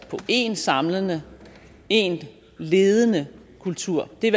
på én samlende én ledende kultur det er